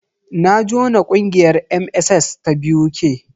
Na jona ƙungiyar MSS ta BUK.